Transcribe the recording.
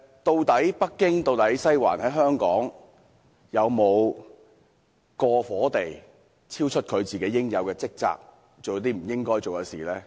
究竟北京、"西環"在香港有否過火地超出應有職責，做了不應該做的事？